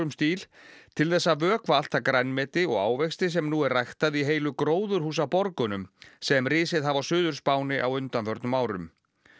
stíl til þess að vökva allt það grænmeti og ávexti sem nú er ræktað í heilu sem risið hafa á Suður Spáni á undanförnum árum